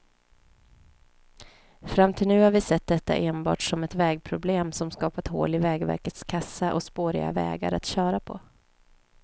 Fram till nu har vi sett detta enbart som ett vägproblem, som skapat hål i vägverkets kassa och spåriga vägar att köra på.